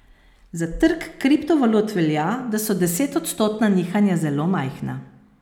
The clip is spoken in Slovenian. Za trg kriptovalut velja, da so desetodstotna nihanja zelo majhna.